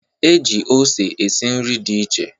E ji ose esi nri dị iche